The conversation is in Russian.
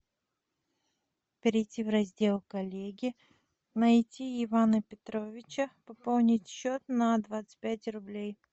перейти в раздел коллеги найти ивана петровича пополнить счет на двадцать пять рублей